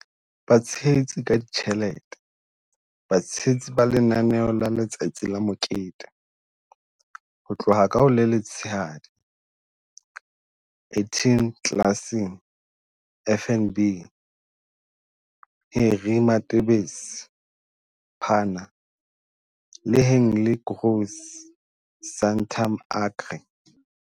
Batshehetsi ka ditjhelete- Batshehetsi ba lenaneo la Letsatsi la Mokete, ho tloha ka ho le letshehadi- Etienne Claassen, FNB, Harry Matebese, Pannar, le Hanlie Kroese, Santam Agri.